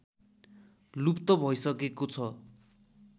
लुप्त भइसकेको छ